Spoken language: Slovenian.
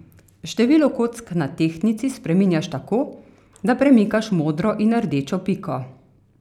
Število kock na tehtnici spreminjaš tako, da premikaš modro in rdečo piko.